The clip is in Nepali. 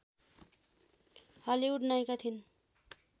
हलिउड नायिका थिइन्